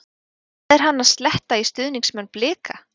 Hvað er hann að sletta í stuðningsmenn BLIKA?